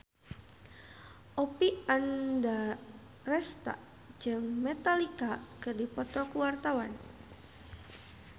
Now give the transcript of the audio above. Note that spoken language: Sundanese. Oppie Andaresta jeung Metallica keur dipoto ku wartawan